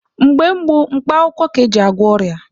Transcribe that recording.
Mgbe gboo bụ mkpa akwụkwọ ka eji agwọ ọrịa.